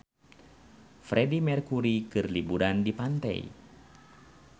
Freedie Mercury keur liburan di pantai